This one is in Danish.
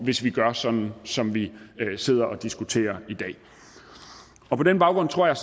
hvis vi gør sådan som vi sidder og diskuterer i dag på den baggrund tror jeg